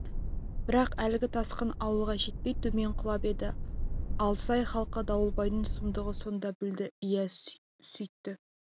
бірақ әлгі тасқын ауылға жетпей төмен құлап еді алсай халқы дауылбайдың сұмдығын сонда білді иә сөйтті